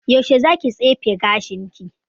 Yaushe za ki tsefe gashin ki?